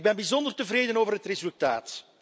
Ik ben bijzonder tevreden over het resultaat.